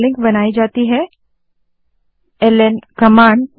link बनाने के लिए ल्न कमांड है